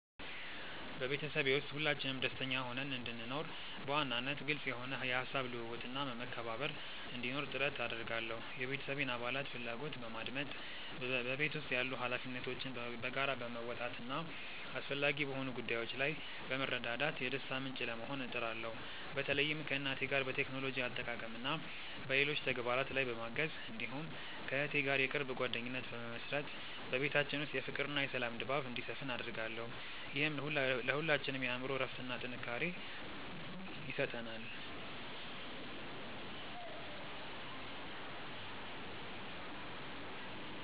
በቤተሰቤ ውስጥ ሁላችንም ደስተኛ ሆነን እንድንኖር፣ በዋናነት ግልጽ የሆነ የሐሳብ ልውውጥና መከባበር እንዲኖር ጥረት አደርጋለሁ። የቤተሰቤን አባላት ፍላጎት በማድመጥ፣ በቤት ውስጥ ያሉ ኃላፊነቶችን በጋራ በመወጣትና አስፈላጊ በሆኑ ጉዳዮች ላይ በመረዳዳት የደስታ ምንጭ ለመሆን እጥራለሁ። በተለይም ከእናቴ ጋር በቴክኖሎጂ አጠቃቀምና በሌሎች ተግባራት ላይ በማገዝ፣ እንዲሁም ከእህቴ ጋር የቅርብ ጓደኝነት በመመሥረት በቤታችን ውስጥ የፍቅርና የሰላም ድባብ እንዲሰፍን አደርጋለሁ። ይህም ለሁላችንም የአእምሮ እረፍትና ጥንካሬ ይሰጠናል።